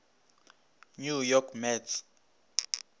new york mets